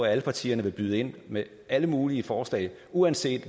at alle partierne vil byde ind med alle mulige forslag uanset